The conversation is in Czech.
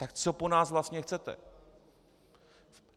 Tak co po nás vlastně chcete?